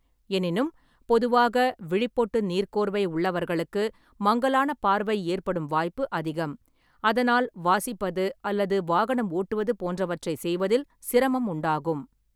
எனினும், பொதுவாக விழிப்பொட்டு நீர்க்கோர்வை உள்ளவர்களுக்கு மங்கலான பார்வை ஏற்படும் வாய்ப்பு அதிகம், அதனால் வாசிப்பது அல்லது வாகனம் ஓட்டுவது போன்றவற்றைச் செய்வதில் சிரமம் உண்டாகும்.